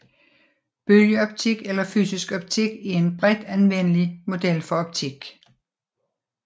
Bølgeoptik eller fysisk optik er en bredt anvendelig model for optik